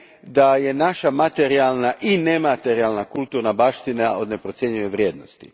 da je naša materijalna i nematerijalna kulturna baština od neprocjenjive vrijednosti.